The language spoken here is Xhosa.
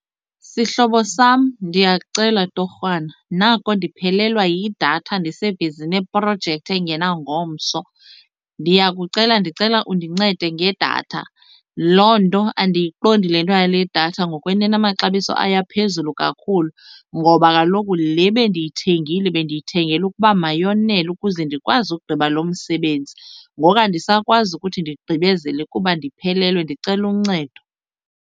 Sihlobo sam, ndiyakucela torhwana nako ndiphelelwa yidatha ndisebhizi neprojekthi engena ngomso. Ndiyakucela ndicela undincede ngedatha. Loo nto andiyiqondi le nto yale datha ngokwenene amaxabiso ayo aphezulu kakhulu ngoba kaloku le bendiyithengile bendiyithengele ukuba mayonele ukuze ndikwazi ukugqiba lo msebenzi, ngoku andisakwazi ukuthi ndigqibezele kuba ndiphelelwe. Ndicela uncedo.